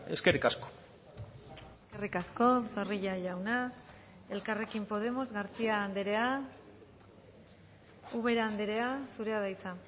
eskerrik asko eskerrik asko zorrilla jauna elkarrekin podemos garcía andrea ubera andrea zurea da hitza